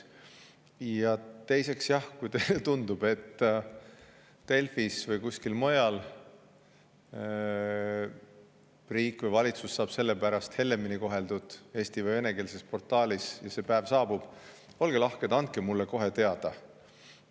Ja teiseks, kui teile tundub, et Delfis või kuskil mujal eesti- või venekeelses portaalis koheldakse riiki või valitsust sellepärast hellemini, olge lahked, andke mulle kohe teada, kui see päev saabub.